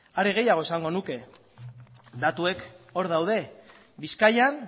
are gehiago esango nuke datuek hor daude bizkaian